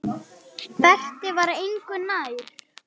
Berti var engu nær.